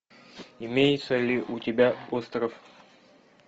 имеется ли у тебя остров